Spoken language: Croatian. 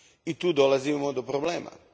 I tu dolazimo do problema.